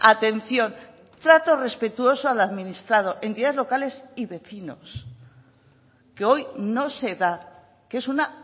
atención trato respetuoso al administrado entidades locales y vecinos que hoy no se da que es una